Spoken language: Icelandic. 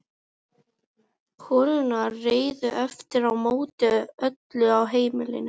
Lára Rut í Haukum Fallegasti knattspyrnumaðurinn?